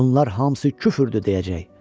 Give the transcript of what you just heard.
Bunlar hamısı küfrdür deyəcək.